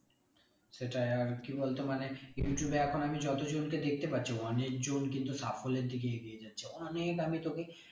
সেটাই আর কি বলতো মানে ইউটিউবে এখন আমি যত জনকে দেখতে পাচ্ছি অনেকজন কিন্তু সাফল্যের দিকে এগিয়ে যাচ্ছে অনেক আমি তোকে